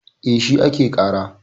E, shi ake ƙara.